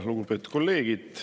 Lugupeetud kolleegid!